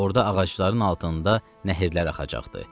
Orda ağacların altında nəhirlər axacaqdı.